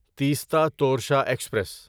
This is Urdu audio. تیستا تورشا ایکسپریس